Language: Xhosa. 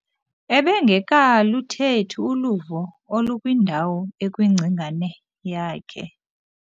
Ebengekaluthethi uluvo olukwindawo ekwingcingane yakhe.